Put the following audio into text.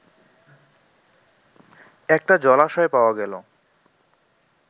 একটা জলাশয় পাওয়া গেল